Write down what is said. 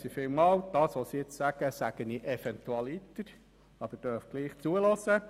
Folgendes sage ich eventualiter, doch Sie dürfen gerne zuhören.